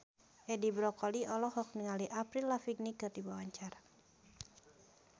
Edi Brokoli olohok ningali Avril Lavigne keur diwawancara